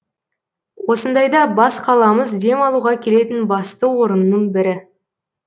осындайда бас қаламыз демалуға келетін басты орынның бірі